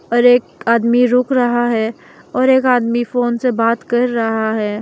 और एक आदमी रुक रहा है और एक आदमी फोन से बात कर रहा है।